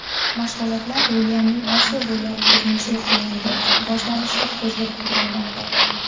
Mashg‘ulotlar Uilyamning Osiyo bo‘ylab turnesi yakunlangach boshlanishi ko‘zda turilmoqda.